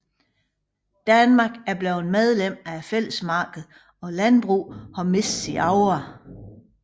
Danmark er blevet medlem af Fællesmarkedet og landbruget har mistet sin aura